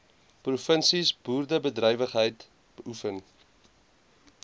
provinsies boerderybedrywighede beoefen